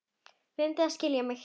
Reyndu að skilja mig.